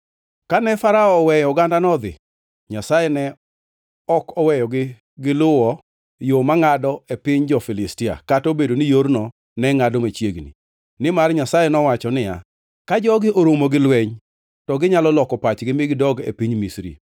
Kane Farao oweyo ogandano odhi, Nyasaye ne ok oweyogi giluwo yo mangʼado e piny jo-Filistia, kata obedo ni yorno ne ngʼado machiegni. Nimar Nyasaye nowacho niya, “Ka jogi oromo gi lweny, to ginyalo loko pachgi mi gidog e piny Misri.”